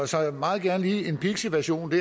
så meget gerne lige en pixiversion